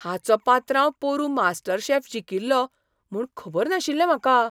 हाचो पात्रांव पोरुं मास्टरशेफ जिखील्लो म्हूण खबर नाशिल्लें म्हाका!